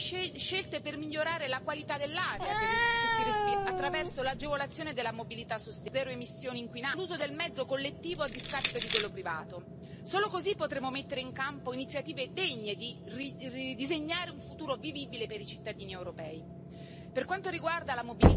den Stau. Wir brauchen hierfür, unter anderem, einen attraktiven und zuverlässigen öffentlichen Personennahverkehr, der auch für den letzten Teil einer Reise eine sichere und angenehme Ankunft ermöglicht. Das alles wird uns um ein Vielfaches weiter bringen als einfache Diesel Fahrverbote.